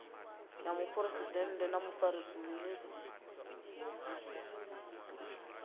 ya muphuresidennde na mufarisa minis